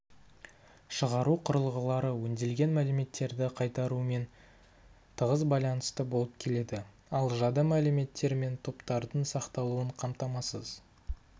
шығару құрылғылары өңделген мәліметтерді қайтарумен тығыз байланысты болып келеді ал жады мәліметтер мен топтардың сақталуын қамтамасыз